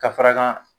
Ka fara kan